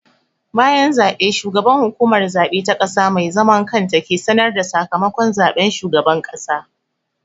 Bayan zaɓe, shugaban Hukumar Zaɓe ta ƙasa mai zaman kanta ke sanar da sakamakon zaɓen shugaban ƙasa.